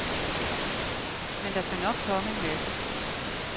Men der skal nok komme en masse.